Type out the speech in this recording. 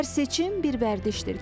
Hər seçim bir vərdişdir.